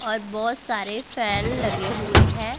और बहोत सारे फैन लगे हुए हैं।